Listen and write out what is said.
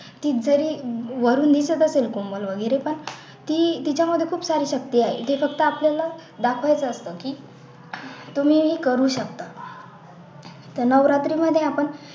की जरी वरून निघत असेल कोमल वैगेरे पण ती तिच्याकडे खूप सारी शक्ती आहे ती फक्त आपल्याला दाखवत राहतात की तुम्ही हे करू शकता नवरात्री मध्ये आपण